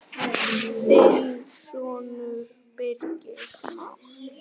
Þinn sonur, Birgir Már.